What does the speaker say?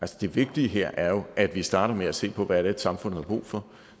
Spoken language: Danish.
det vigtige her er jo at vi starter med at se på hvad det er samfundet har brug for